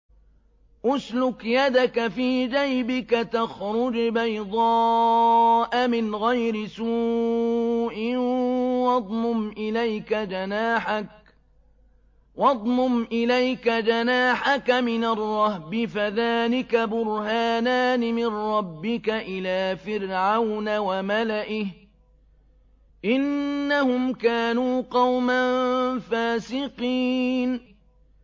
اسْلُكْ يَدَكَ فِي جَيْبِكَ تَخْرُجْ بَيْضَاءَ مِنْ غَيْرِ سُوءٍ وَاضْمُمْ إِلَيْكَ جَنَاحَكَ مِنَ الرَّهْبِ ۖ فَذَانِكَ بُرْهَانَانِ مِن رَّبِّكَ إِلَىٰ فِرْعَوْنَ وَمَلَئِهِ ۚ إِنَّهُمْ كَانُوا قَوْمًا فَاسِقِينَ